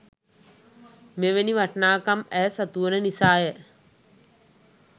මෙවැනි වටිනාකම් ඇය සතු වන නිසාය.